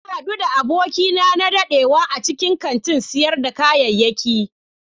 Na hadu da abokina na dadewa a cikin kantin sayar da kayayyaki.